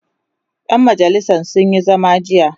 ƴan majalisan sun Yi zama jiya